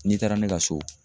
N'i taara ne ka so.